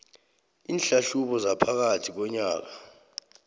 iinhlahlubo zaphakathi konyaka